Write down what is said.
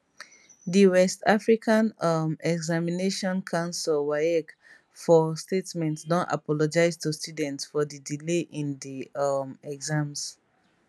di west african um examinations council waec for statement don apologise to students for di delay in di um exams